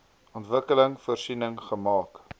ontwikkeling voorsiening gemaak